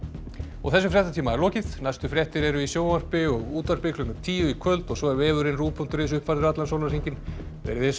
þessum fréttatíma er lokið næstu fréttir eru í sjónvarpi og útvarpi klukkan tíu í kvöld og svo er vefurinn ruv punktur is uppfærður allan sólarhringinn verið þið sæl